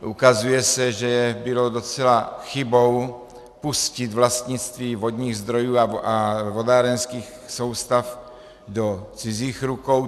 Ukazuje se, že bylo docela chybou pustit vlastnictví vodních zdrojů a vodárenských soustav do cizích rukou.